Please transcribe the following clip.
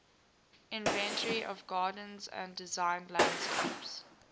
inventory of gardens and designed landscapes